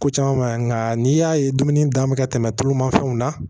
Ko caman ma ɲi nka n'i y'a ye dumuni dan bɛ ka tɛmɛ tulu ma fɛnw na